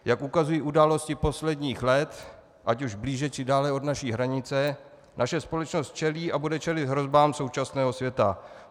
Jak ukazují události posledních let, ať už blíže či dále od naší hranice, naše společnost čelí a bude čelit hrozbám současného světa.